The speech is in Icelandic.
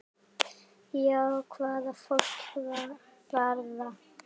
Já, hvað fólk varðar.